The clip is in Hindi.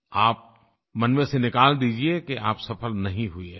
आप मन में से निकाल दीजिए कि आप सफल नहीं हुए हैं